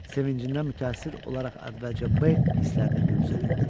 Sevincindən mütəəssir olaraq əvvəlcə B hisslərini büruzə verdi.